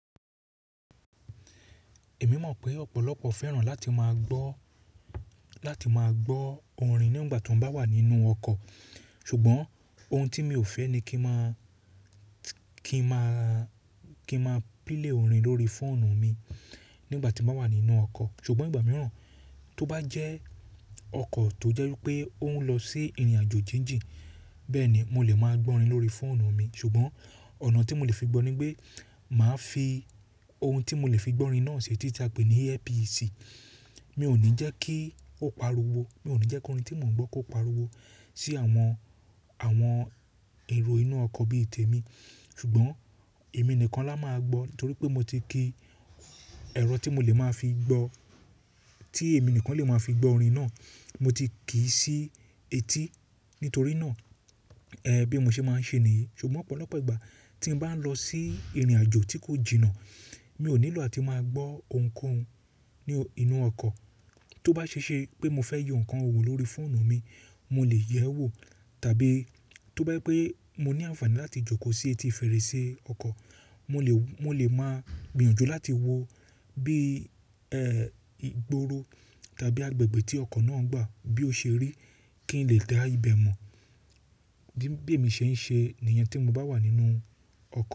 Èmi mọ̀ pé ọ̀pọ̀lọpọ̀ fẹ́ràn láti máa gbọ́, láti máa gbọ́ orin nígbà tí wọ́n bá wà nínú ọkọ̀. Ṣùgbọ́n ohun tí mi ò fẹ́ ni kí n máa, kí n máa, kí máa pílè orin lórí fóònù mi nígbà tí mo bá wà nínú ọkọ̀. Ṣùgbọ́n ìgbà mìíràn tó bá jẹ́ ọkọ̀ tó jẹ́ wípé ó ń lọ sí ìrìnàjò jinjin, bẹ́ẹ̀ ni mo lè máa gbọ́ orin lórí fóònù mi. Ṣùgbọ́n ọ̀nà tí mo lè fi gbọ́ ni pé máa fi ohun tí mo lè fi gbọ́ orin náà ṣe tí tí a pè ní earpiece. Mi ò ní jẹ́ kí ó pariwo, mi ò ní jẹ́ kí orin tí mò ń gbọ́ kó pariwo sí àwọn, àwọn èrò inú ọkọ̀ bí i tèmi. Ṣùgbọ́n èmi nìkan la máa gbọ́ nítorí pé mo ti ki ẹ̀rọ tí mo lè máa fi gbọ́, tí èmi nìkan lè máa fi gbọ́ orin náà mo ti kì í sí etí. Nítorí náà, ẹ́, bí mo ṣe máa ń ṣe nìyí. Ṣùgbọ́n ọ̀pọ̀lọpọ̀ ìgbà tí n bá ń lọ sí ìrìnàjò tí kò jìnnà, mi ò nílò áti máa gbọ́ ohunkóhun ní inú ọkọ̀. Tó bá ṣe ṣe pé mo fẹ́ yọ ǹkan wo lórí fóònù mi, mo lè yẹ ẹ́ wò. Tàbí tó bá jẹ́ pé mo ní àǹfààní láti jókòó sí etí fèrèsé ọkọ̀, mo lè, mo lè máa gbìyànjú láti wo bí, ẹ́, ìgboro tàbí agbègbè tí ọkọ̀ náà ń gbà bí ó ṣe rí kí n lè dá ibẹ̀ mọ̀. Bí èmi ṣe ń ṣe nìyẹn tí mo bá wà nínú ọkọ̀.